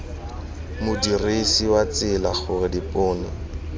modirisi wa tsela gore dipone